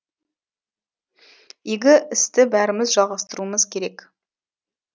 игі істі бәріміз жалғастыруымыз керек